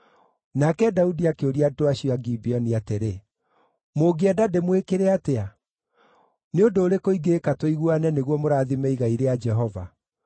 Nake Daudi akĩũria andũ acio a Gibeoni atĩrĩ, “Mũngĩenda ndĩmwĩkĩre atĩa? Nĩ ũndũ ũrĩkũ ingĩĩka tũiguane nĩguo mũrathime igai rĩa Jehova?”